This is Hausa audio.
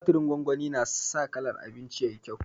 Tumaturin gongoni na sa kalar abinci yayi kyau